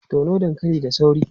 Tono dankali da sauri!